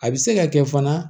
A bɛ se ka kɛ fana